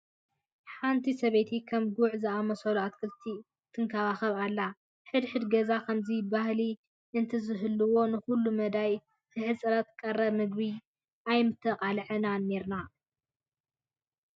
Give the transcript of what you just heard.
ሓንት ሰበይቲ ከም ጉዕ ንዝኣምሰሉ ኣትክልቲ ትንከባኸብ ኣላ፡፡ ሕድ ሕድ ገዛ ከምዚ ባህሊ እንተዝህልዎ ንኹለመዳያዊ ሕፅረት ቀረብ ምግቢ ኣይምተቃላዕናን ኔርና፡፡